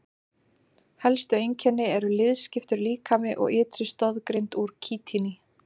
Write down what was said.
Helstu einkenni eru liðskiptur líkami og ytri stoðgrind úr kítíni.